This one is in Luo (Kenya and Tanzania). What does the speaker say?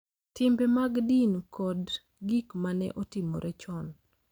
Timbe mag din, kod gik ma ne otimore chon.